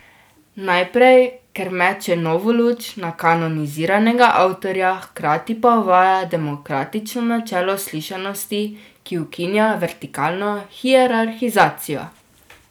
Najprej, ker meče novo luč na kanoniziranega avtorja, hkrati pa uvaja demokratično načelo slišanosti, ki ukinja vertikalno hierarhizacijo.